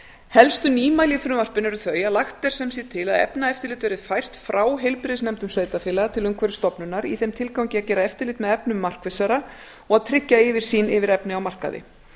helstu nýmæli í frumvarpinu eru sem sagt þau að lagt er til að efnaeftirlit verði fært frá heilbrigðisnefndum sveitarfélaga til umhverfisstofnunar í þeim tilgangi að gera eftirlit með efnum markvissara og að tryggja yfirsýn yfir efni á markaði